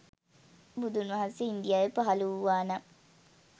බුදුන්වහන්සේ ඉන්දියාවේ පහල වූවානම්